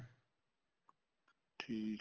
ਠੀਕ